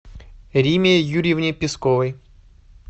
риме юрьевне песковой